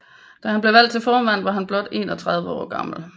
Da han blev valgt til formand var han blot 31 år gammel